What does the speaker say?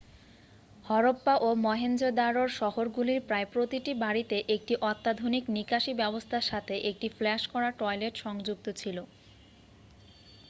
হরপ্পা ও মহেঞ্জো-দারোর শহরগুলির প্রায় প্রতিটি বাড়িতে একটি অত্যাধুনিক নিকাশী ব্যবস্থার সাথে একটি ফ্লাশ করা টয়লেট সংযুক্ত ছিল